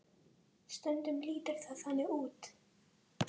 Stundum lítur það þannig út.